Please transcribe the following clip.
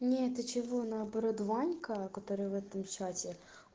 нет ты чего наоборот ванька который в этом чате